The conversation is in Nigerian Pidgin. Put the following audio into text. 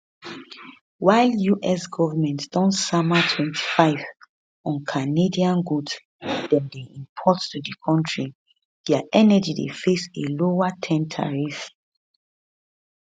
while us goment don sama 25 on canadian goods dem dey import to di kontri dia energy dey face a lower ten tariff